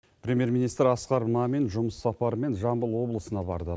премьер министр асқар мамин жұмыс сапарымен жамбыл облысына барды